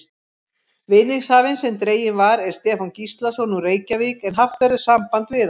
Vinningshafinn sem dreginn var er Stefán Gíslason, úr Reykjavík en haft verður samband við hann.